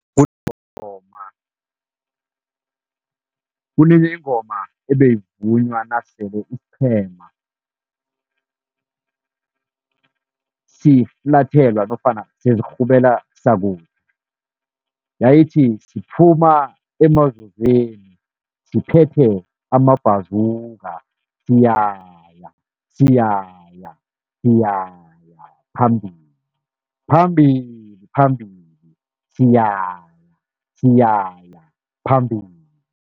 kunenye ingoma ebeyivunywa nasele isiqhema siflathelwa nofana sezirhubela . Yayithi siphuma siphethe amabhazuka siyaya, siyaya, siyaya phambili, phambili, phambili, siyaya, siyaya phambili.